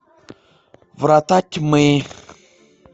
врата тьмы